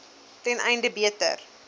ten einde beter